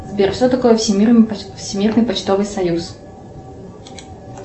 сбер что такое всемирный почтовый союз